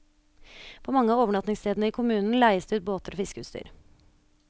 På mange av overnattingsstedene i kommunen leies det ut båter og fiskeutstyr.